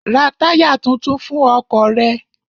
Ra táyà tuntun fún ọkọ̀ ṣe rẹ!